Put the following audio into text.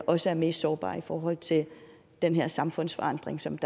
også er mest sårbare i forhold til den her samfundsforandring som